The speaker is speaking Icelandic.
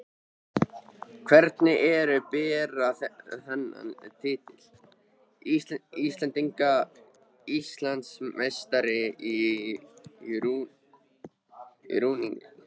Hvernig er að bera þennan titil: Íslandsmeistari í rúningi?